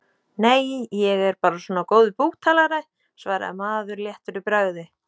Nei, ég er bara svona góður búktalari, svaraði maður léttur í bragði.